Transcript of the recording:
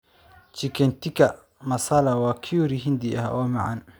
Chicken tikka masala waa curry Hindi ah oo macaan.